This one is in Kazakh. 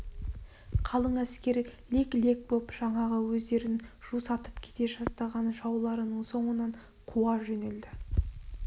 қалың әскер лек-лек боп жаңағы өздерін жусатып кете жаздаған жауларының соңынан қуа жөнелді